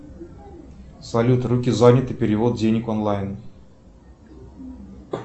салют руки заняты перевод денег онлайн